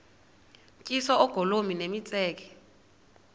tyiswa oogolomi nemitseke